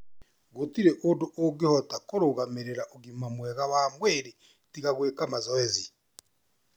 Gũtirĩ ũndũ ũngĩhota kũrũgamĩrĩra ũgima mwega wa mwĩrĩ tiga gwĩka mazoezi.